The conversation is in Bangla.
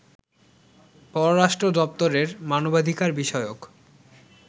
পররাষ্ট্র দপ্তরের মানবাধিকার বিষয়ক